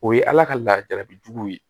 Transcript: O ye ala ka laada juguw ye